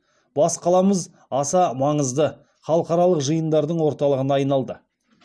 бас қаламыз аса маңызды халықаралық жиындардың орталығына айналды